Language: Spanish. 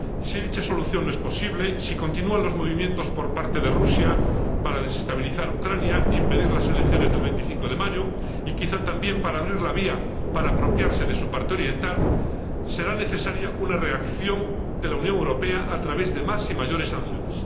Si dicha solución no es posible, si continúan los movimientos por parte de Rusia para desestabilizar Ucrania, impedir las elecciones del 25 de mayo y, quizá también, para abrir la vía para apropiarse de su parte oriental, será necesaria una reacción de la Unión Europea, a través de más y mayores sanciones.